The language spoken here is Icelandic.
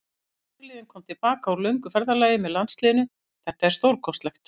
Fyrirliðinn kom til baka úr löngu ferðalagi með landsliðinu, þetta er stórkostlegt.